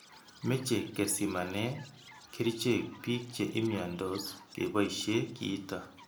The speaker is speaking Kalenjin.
Meche kesimane kerichek bik che imiandos keboishe kiito.